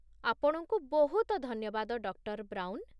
ଆପଣଙ୍କୁ ବହୁତ ଧନ୍ୟବାଦ, ଡକ୍ଟର ବ୍ରାଉନ।